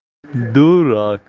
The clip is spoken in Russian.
дурак